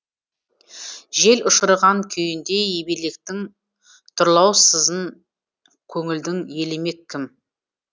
жел ұшырған күйіндей ебелектің тұрлаусызын көңілдің елемек кім